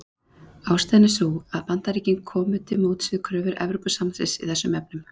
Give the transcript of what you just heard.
Ástæðan er sú að Bandaríkin komu til móts við kröfur Evrópusambandsins í þessum efnum.